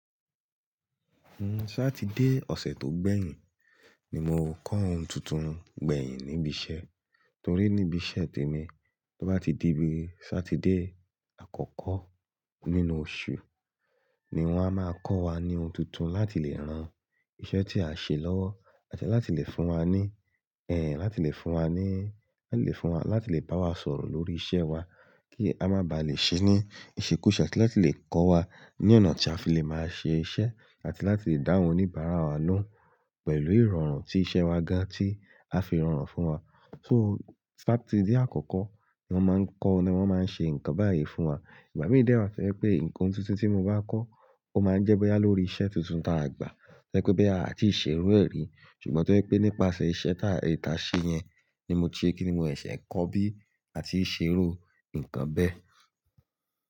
Nnu, Sátidé ọ̀sẹ̀ tó gbẹ̀yìn ni mo kọ́ ohun tuntun gbẹ̀yìn níbi iṣẹ́. Torí níbi iṣẹ́ tèmi, tó bá ti di bí Sátidé àkọ́kọ́ nínú oṣù ni wọ́n a máa kọ́ wa ní ohun tuntun láti lè rán iṣẹ́ tí a ṣe lọ́wọ́ àti láti lè fún wa ní, ẹ, láti lè fún wa ní, láti lè fún wa, láti lè bá wa sọ̀rọ̀ lórí iṣẹ́ wa kí a má ba à lè ṣe ní ìṣekúṣe kí wọ́n sì lè kọ́ wa ní ọ̀nà tí a fi lè máa ṣe iṣẹ́ àti láti lè dáhùn oníbàárà wa lóhùn pẹ̀lú ìrọ̀rùn tí iṣẹ́ wa ga tí a fi rọrùn fún wa. So Sátidé àkọ́kọ́ ni wọ́n máa ń kọ́ ni wọ́n máa ń ṣe nǹkan báyìí fún wa. Ìbá mi dè wá fẹ́ pé ǹkan tuntun tí mo bá kọ́, ó máa ń jẹ́ bóyá lórí iṣẹ́ tuntun tí a gbà. Jẹ́ pé bóyá àti ìṣeré ẹ̀rí. Ṣùgbọ́n torí pé nípasẹ̀ iṣẹ́ tá ìta ṣe yẹn ni mo ti rí kíni mò ẹ̀ ṣẹ̀ kọ́ bí àti ìṣeré ǹkan bẹ́ẹ̀.